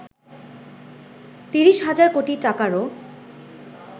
৩০ হাজার কোটি টাকারও